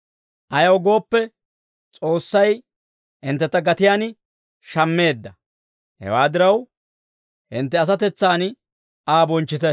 Ayaw gooppe, S'oossay hinttentta gatiyaan shammeedda. Hewaa diraw, hintte asatetsaan Aa bonchchite.